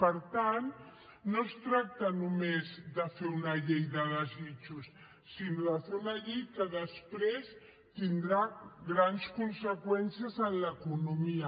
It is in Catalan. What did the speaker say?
per tant no es tracta només de fer una llei de desitjos sinó de fer una llei que després tingui grans conseqüències en l’economia